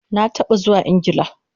Na taba zuwa Ingla